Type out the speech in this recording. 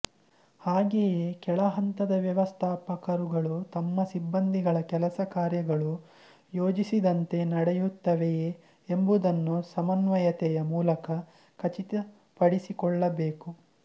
ಹಾಗೆಯೇ ಕೆಳಹಂತದ ವ್ಯವಸ್ಥಾಪಕರುಗಳು ತಮ್ಮ ಸಿಬ್ಬಂದಿಗಳ ಕೆಲಸ ಕಾರ್ಯಗಳು ಯೋಜಿಸಿದಂತೆ ನಡೆಯುತ್ತವೆಯೇ ಎಂಬುದನ್ನು ಸಮನ್ವಯತೆಯ ಮೂಲಕ ಖಚಿತಪಡಿಸಿಕೊಳ್ಳಬೇಕು